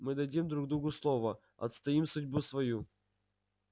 мы дадим друг другу слово отстоим судьбу свою